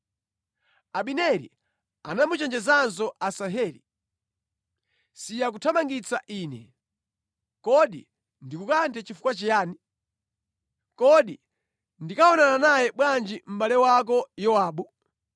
Abineri anamuchenjezanso Asaheli, “Siya kuthamangitsa ine! Kodi ndikukanthe chifukwa chiyani? Kodi ndikaonana naye bwanji mʼbale wako Yowabu?”